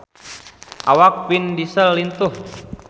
Awak Vin Diesel lintuh